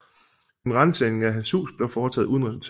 En ransagning af hans hus blev foretaget uden resultat